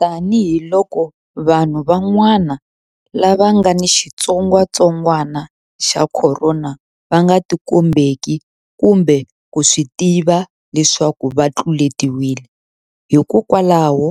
Tanihiloko vanhu van'wa-na lava nga ni xitsongwantsongwana xa Khorona va nga tikombeki kumbe ku swi tiva leswaku va tluletiwile, hikwalaho